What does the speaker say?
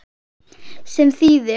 Sem þýðir